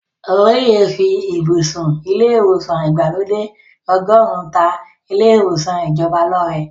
Olóyè fí ibùsùn ilé ìwòsàn ìgbàlódé ọgọ́run ta ilé ìwòsàn ìjọba lọ́rẹ.